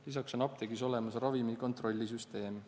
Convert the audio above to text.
Lisaks on apteegis olemas ravimi kontrollisüsteem.